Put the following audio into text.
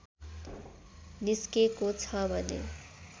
निस्केको छ भने